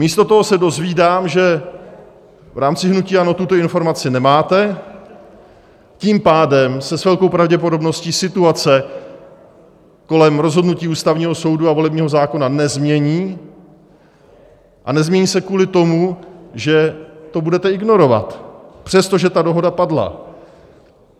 Místo toho se dozvídám, že v rámci hnutí ANO tuto informaci nemáte, tím pádem se s velkou pravděpodobností situace kolem rozhodnutí Ústavního soudu a volebního zákona nezmění a nezmění se kvůli tomu, že to budete ignorovat, přestože ta dohoda padla.